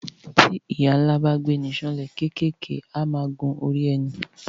Tí ìyà ńlá bá gbéni san lẹ kékeré a máa gun orí ẹni